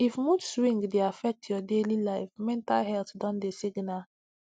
if mood swing dey affect your daily life mental health don dey signal